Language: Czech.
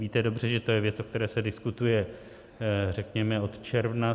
Víte dobře, že to je věc, o které se diskutuje, řekněme, od června.